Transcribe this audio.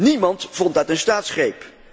Niemand vond dat een staatsgreep.